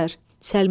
Səlma.